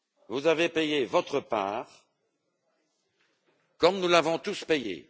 Vous avez payé votre part, comme nous l'avons tous payée.